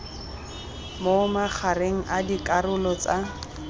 mo magareng a dikarolo tsa